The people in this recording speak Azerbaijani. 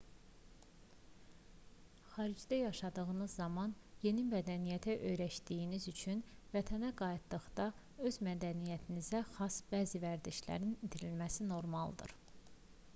xaricdə yaşadığınız zaman yeni mədəniyyətə öyrəşdiyiniz üçün vətənə qayıtdıqda öz mədəniyyətinizə xas bəzi vərdişlərin itirilməsi normaldır